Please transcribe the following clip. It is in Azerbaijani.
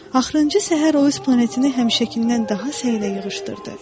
Axırıncı səhər o öz planetini həmişəkindən daha səyə yığışdırdı.